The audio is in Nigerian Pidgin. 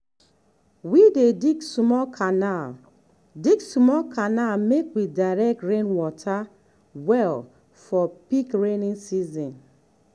we dey dig small canal dig small canal make we direct rainwater well for peak rainy season.